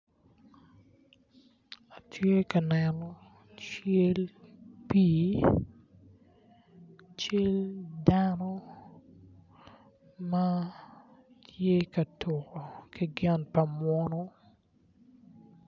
Atye ka neno cal pii , cal dano ma tye ka tuko ki gin pa munu.